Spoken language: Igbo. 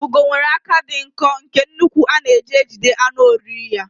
Ugo nwere aka dị nkọ nke ukwuu a na-eji ejide anụ oriri ya.